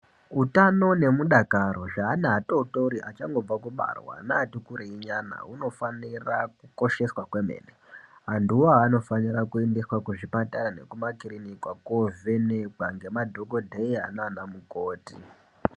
Utano nemudakaro zveana atotori achangobva kubarwa neatikurei nyana hunofanira kukosheswa kwemene, antuwo anofanire kuendesa kuzvipatara nekumakirinika kovhenekwa ngemadhokodheya nana mukoti.